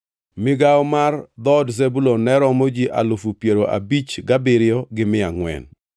Migawo mar dhood Zebulun ne romo ji alufu piero abich gabiriyo gi mia angʼwen (57,400).